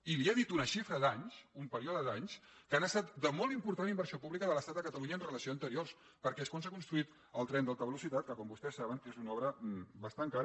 i li he dit una xifra d’anys un període d’anys que han estat de molt important inversió pública de l’estat a catalunya en relació amb anteriors perquè és quan s’ha construït el tren d’alta velocitat que com vostès saben és una obra bastant cara